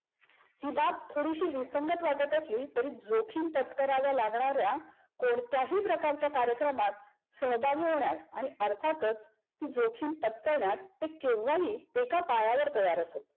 ही बाब थोडीशी विसंगत वाटत असली तरी जोखीम पत्कराव्या लागण्याऱ्या कोणत्याही प्रकारच्या कार्यक्रमात सहभागी होण्यास आणि अर्थातच ती जोखीम पत्करण्यास ते केव्हाही एका पायावर तय्यार असत.